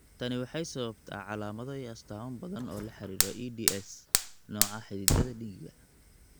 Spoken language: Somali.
Tani waxay sababtaa calaamado iyo astaamo badan oo la xidhiidha EDS, nooca xididdada dhiigga.